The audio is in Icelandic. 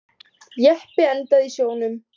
Jeppi endaði í sjónum